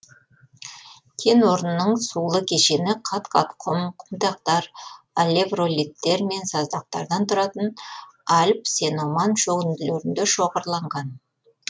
кен орнының сулы кешені қат қат құм құмдақтар алевролиттер мен саздақтардан тұратын альб сеноман шөгінділерінде шоғырланған